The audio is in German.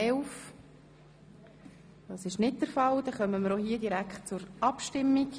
11? – Das ist nicht der Fall, und wir kommen auch hier direkt zur Abstimmung.